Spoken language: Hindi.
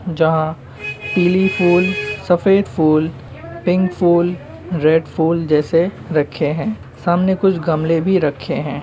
जहाँ पीली फूल सफ़ेद फूलपिंक फूलरेड फूल जैसे रखे हैंसामने कुछ गमले भी रखे हैं।